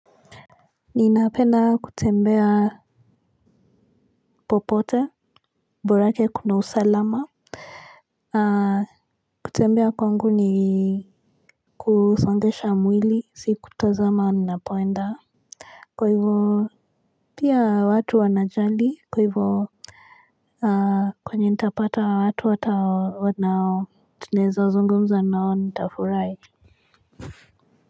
Ninapenda kutembea popote borake kuna usalama. Kutembea kwangu ni kusongesha mwili si kutazama unapoenda. Kwa hivyo pia watu wanajali kwa hivyo. Kwenye nitapata wa watu hata wanao tunaeza zungumza nao nitafurahi. Kwa hivyo.